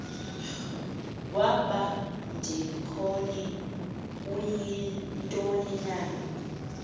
wabadikoni uyintoni na